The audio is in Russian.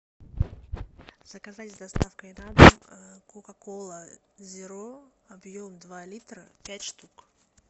заказать с доставкой на дом кока кола зеро объем два литра пять штук